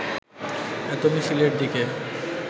এত মিছিলের দিকে